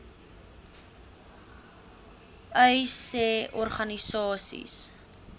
uys sê organisasies